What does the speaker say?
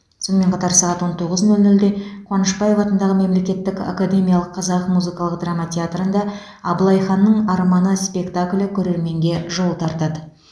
сонымен қатар сағат он тоғыз нөл нөлде қуанышбаев атындағы мемлекеттік академиялық қазақ музыкалық драма театрында абылай ханның арманы спектаклі көрерменге жол тартады